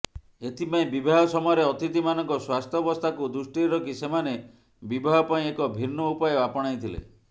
ଏଥିପାଇଁ ବିବାହ ସମୟରେ ଅତିଥିମାନଙ୍କ ସ୍ୱାସ୍ଥ୍ୟବସ୍ଥାକୁ ଦୃଷ୍ଟିରେ ରଖି ସେମାନେ ବିବାହ ପାଇଁ ଏକ ଭିନ୍ନ ଉପାୟ ଆପଣାଇଥିଲେ